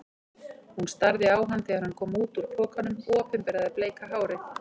Hún starði á hann þegar hann kom út úr pokanum og opinberaði bleika hárið.